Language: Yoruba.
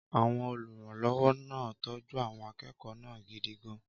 Àwọn olùrànlọ́wọ́ náà ń tọ́jú àwọn akẹ́kọ̀ọ́ náà gidi gan-an.